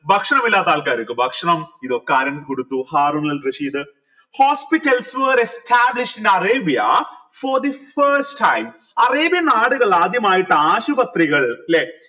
ഭക്ഷണം ഇല്ലാത്ത ആൾക്കാർക്ക് ഭക്ഷണം ഇതൊക്കെ കൊടുത്തു Harun al Rashid hospitals were established in arabia for the first time അറേബ്യൻ നാടുകളിൽ ആദ്യമായിട്ട് ആശുപത്രികൾ ല്ലെ